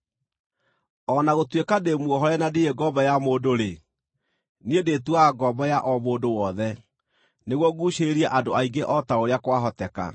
O na gũtuĩka ndĩ muohore na ndirĩ ngombo ya mũndũ-rĩ, niĩ ndĩĩtuaga ngombo ya o mũndũ wothe, nĩguo nguucĩrĩrie andũ aingĩ o ta ũrĩa kwahoteka.